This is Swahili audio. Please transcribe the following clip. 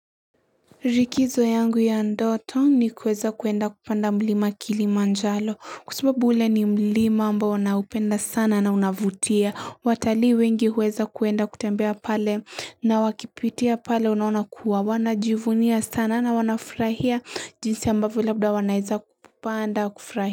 Likizo yangu ya ndoto ni kuweza kuenda kupanda mlima kilimanjaro kwa sababu ule ni mlima ambao naupenda sana na unavutia watalii wengi huweza kuenda kutembea pale na wakipitia pale unaona kuwa wanajivunia sana na wanafurahia jinsi ambavyo labda wanaweza kupanda kufurahia.